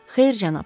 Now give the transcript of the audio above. Xeyr, cənab.